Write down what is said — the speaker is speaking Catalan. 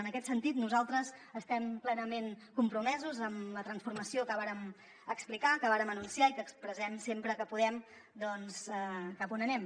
en aquest sentit nosaltres estem plenament compromesos amb la transformació que vàrem explicar que vàrem anunciar i que expressem sempre que podem doncs cap a on anem